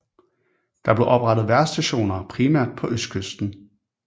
Der blev oprettet vejrstationer primært på østkysten